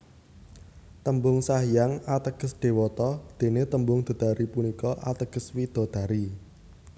Tembung Sanghyang ateges dewata dene tembung Dedari punika ateges widadari